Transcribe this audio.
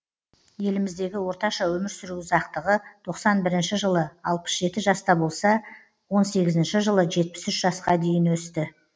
еліміздегі орташа өмір сүру ұзақтығы тоқсан бірінші жылы алпыс жеті жаста болса он сегізінші жылы жетпіс үш жасқа дейін өсті